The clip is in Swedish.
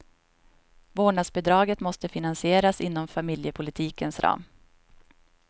Vårdnadsbidraget måste finansieras inom familjepolitikens ram.